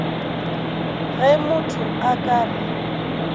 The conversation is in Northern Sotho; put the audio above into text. ge motho a ka re